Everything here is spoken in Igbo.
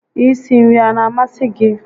I si nri a na amasị gị?